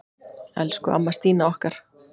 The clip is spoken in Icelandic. Elsku amma Stína okkar.